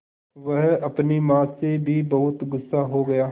वह अपनी माँ से भी बहुत गु़स्सा हो गया